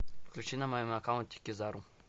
включи на моем аккаунте кизару